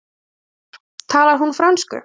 Ingimar: Talar hún frönsku?